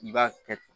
I b'a kɛ